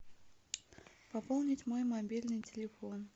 пополнить мой мобильный телефон